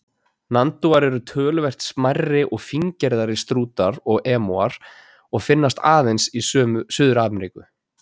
Nandúar eru töluvert smærri og fíngerðari en strútar og emúar og finnast aðeins í Suður-Ameríku.